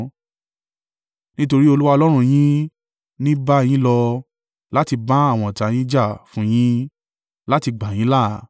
Nítorí Olúwa Ọlọ́run yín ní bá yín lọ, láti bá àwọn ọ̀tá yín jà fún yín, láti gbà yín là.”